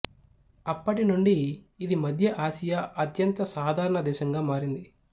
అప్పటి నుండి ఇది మధ్య ఆసియా అత్యంత సాధారణ దేశంగా మారింది